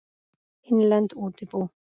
Innlend útibú.